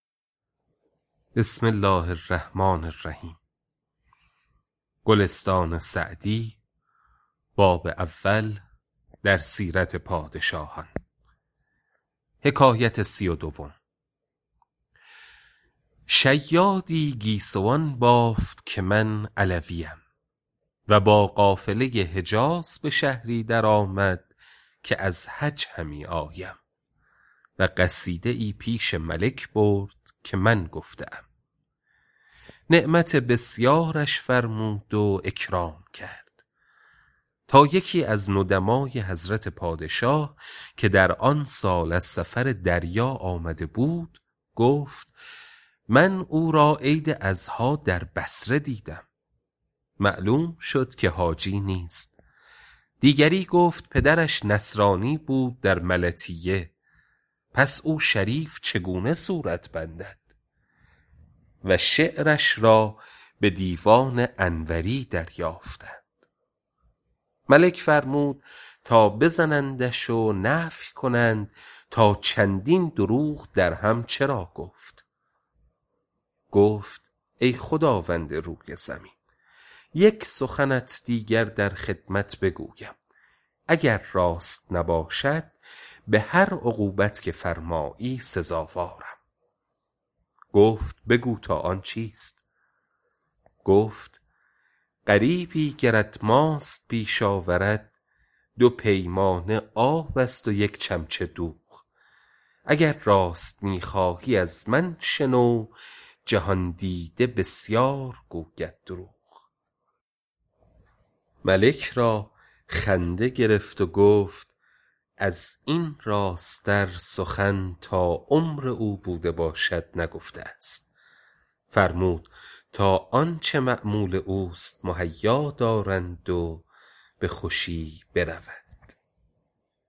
شیادی گیسوان بافت که من علویم و با قافله حجاز به شهری در آمد که از حج همی آیم و قصیده ای پیش ملک برد که من گفته ام نعمت بسیارش فرمود و اکرام کرد تا یکی از ندمای حضرت پادشاه که در آن سال از سفر دریا آمده بود گفت من او را عید اضحیٰ در بصره دیدم معلوم شد که حاجی نیست دیگری گفتا پدرش نصرانی بود در ملطیه پس او شریف چگونه صورت بندد و شعرش را به دیوان انوری دریافتند ملک فرمود تا بزنندش و نفی کنند تا چندین دروغ درهم چرا گفت گفت ای خداوند روی زمین یک سخنت دیگر در خدمت بگویم اگر راست نباشد به هر عقوبت که فرمایی سزاوارم گفت بگو تا آن چیست گفت غریبی گرت ماست پیش آورد دو پیمانه آب است و یک چمچه دوغ اگر راست می خواهی از من شنو جهان دیده بسیار گوید دروغ ملک را خنده گرفت و گفت از این راست تر سخن تا عمر او بوده باشد نگفته است فرمود تا آنچه مأمول اوست مهیا دارند و به خوشی برود